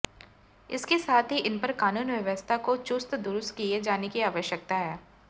इसके साथ ही इनपर कानून व्यवस्था को चुस्त दुरूस्त किये जाने की आवश्यकता है